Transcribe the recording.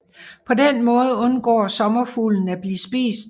På den måde undgår sommerfuglen at blive spist